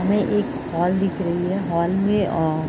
हमें एक हॉल दिख रही है हॉल में आ --